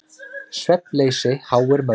Svefnleysi háir mörgum.